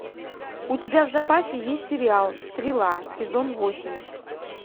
у тебя в запасе есть сериал стрела сезон восемь